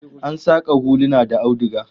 Ana saka huluna da auduga